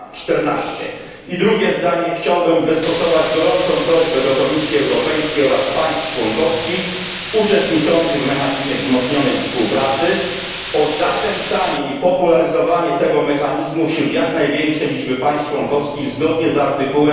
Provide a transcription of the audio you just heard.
na 14. Chciałbym również wystosować gorącą prośbę do Komisji Europejskiej oraz państw członkowskich uczestniczących w mechanizmie wzmocnionej współpracy o zachęcanie i popularyzowanie tego mechanizmu wśród jak największej liczby państw członkowskich zgodnie z art.